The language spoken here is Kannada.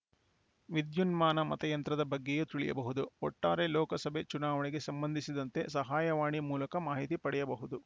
ವಿದ್ಯುನ್ಮಾನ ಮತಯಂತ್ರದ ಬಗ್ಗೆಯೂ ತಿಳಿಯಬಹುದು ಒಟ್ಟಾರೆ ಲೋಕಸಭೆ ಚುನಾವಣೆಗೆ ಸಂಬಂಧಿಸಿದಂತೆ ಸಹಾಯವಾಣಿ ಮೂಲಕ ಮಾಹಿತಿ ಪಡೆಯಬಹುದು